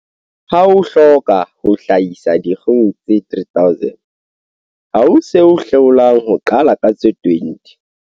Ha o hloka ho hlahisa dikgoho tse 3 000, ha ho se o hlolang ho qala ka tse 20.